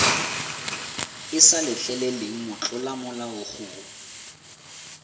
e sa letleleleng motlolamolao go